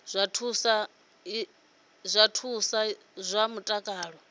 zwa thuso ya zwa mutakalo